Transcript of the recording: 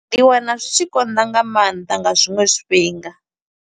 Ndi wana zwi tshi konḓa nga maanḓa, nga zwiṅwe zwifhinga.